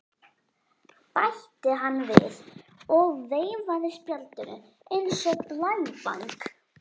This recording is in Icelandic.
bætti hann við og veifaði spjaldinu eins og blævæng.